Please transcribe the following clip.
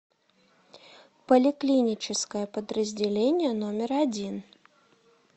поликлиническое подразделение номер один